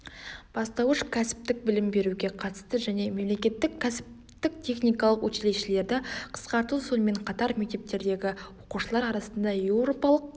бастауыш кәсіптік білім беруге қатысты және мемлекеттік кәсіптіктехникалық училищелерді қысқарту сонымен қатар мектептердегі оқушылар арасында еуропалық